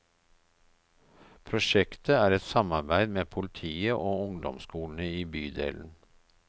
Prosjektet er et samarbeid med politiet og ungdomsskolene i bydelen.